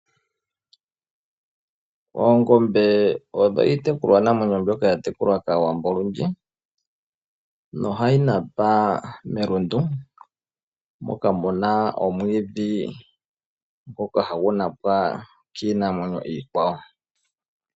Oongombe odho iinamwenyo mbyoka hayi tekulwa kaawambo olundji, noha yi napa melundu, moka muna omwiidhi ngoka hagu napwa kiinamwenyo iikwawo.